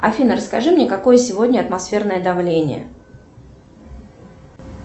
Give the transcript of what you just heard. афина расскажи мне какое сегодня атмосферное давление